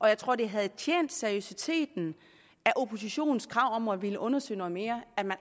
jeg tror det havde tjent seriøsiteten af oppositionens krav om at ville undersøge noget mere at man